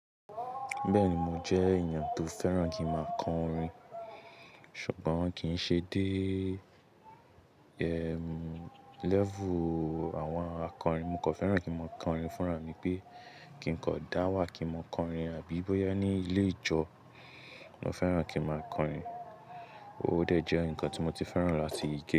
Bẹ́ẹ̀ni, mo jẹ́ èèyàn tó fẹ́ràn kí n máa kọrin, ṣùgbọ́n kì í ṣe dé, ẹm, lẹ́vù àwọn akọrin. Mo kò fẹ́ràn kí n máa kọrin fúnra mi pé kí n kọ dáwà kí n máa kọrin àbí bóyá ní ilé ìjọ. Mo fẹ́ràn kí n máa kọrin, óò dẹ̀ jẹ́ nǹkan tí mo ti fẹ́ràn láti ìke.